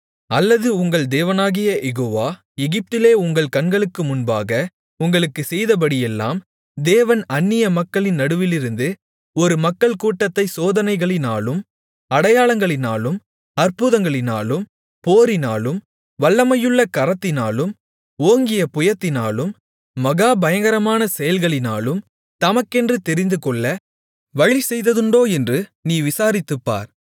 அல்லது உங்கள் தேவனாகிய யெகோவா எகிப்திலே உங்கள் கண்களுக்கு முன்பாக உங்களுக்குச் செய்தபடியெல்லாம் தேவன் அந்நிய மக்களின் நடுவிலிருந்து ஒரு மக்கள்கூட்டத்தைச் சோதனைகளினாலும் அடையாளங்களினாலும் அற்புதங்களினாலும் போரினாலும் வல்லமையுள்ள கரத்தினாலும் ஓங்கிய புயத்தினாலும் மகா பயங்கரமான செயல்களினாலும் தமக்கென்று தெரிந்துகொள்ள வழிசெய்ததுண்டோ என்று நீ விசாரித்துப்பார்